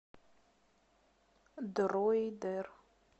дроидер